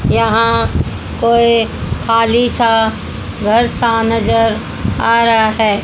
यहां कोई खाली सा घर सा नजर आ रहा है।